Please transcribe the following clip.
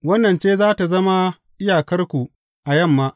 Wannan ce za tă zama iyakarku a yamma.